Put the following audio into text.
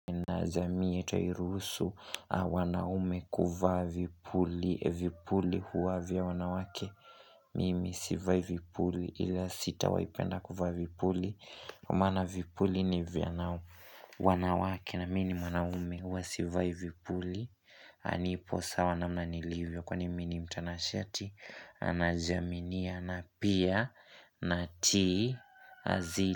Na jamii yetu hairuhusu wanaume kuvaa vipuli. Vipuli huwa vya wanawake Mimi sivai vipuli ila sitawaipenda kuvaa vipuli Kwa maana vipuli ni vya wanawake na mi ni mwanaume huwa sivai vipuli nipo sawa namna nilivyo kwani mi ni mtanashati na najiaminia na pia natii azili.